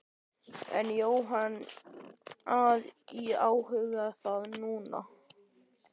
En er Jóhanna að íhuga það núna?